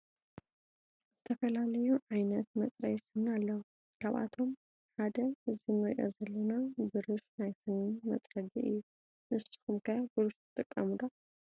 ዝተፈላለዩ ዓይነት መፅረይ ስኒ አለው ካብአቶም ሓደ እዚ እንሪኦ ዘለና ብርሽ ናይ ስኒ መፅረጊ እዩ ።ንስኩም ከ ብርሽ ትጥቀሙ ዶ ?